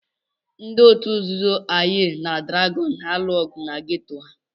Ndị otu nzuzo Aye na Dragon na-alụ ọgụ na geto ha.